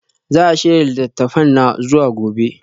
Za a shirya littattafana zuwa gobe?